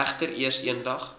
egter eers eendag